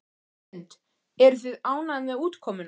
Hrund: Eruð þið ánægð með útkomuna?